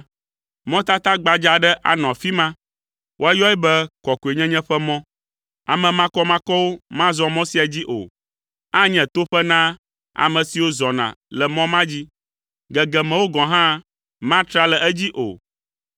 Mɔtata gbadza aɖe anɔ afi ma. Woayɔe be kɔkɔenyenye ƒe mɔ. Ame makɔmakɔwo mazɔ mɔ sia dzi o. Anye toƒe na ame siwo zɔna le mɔ ma dzi. Gegemewo gɔ̃ hã matra le edzi o.